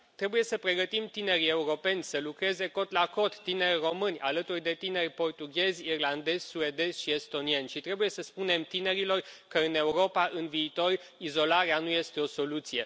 Trebuie să pregătim tinerii europeni să lucreze cot la cot tineri români, alături de tineri portughezi, irlandezi, suedezi și estonieni și trebuie să spunem tinerilor că în Europa, în viitor, izolarea nu este o soluție.